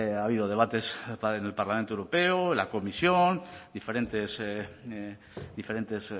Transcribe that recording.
ha habido debates a través del parlamento europeo la comisión diferentes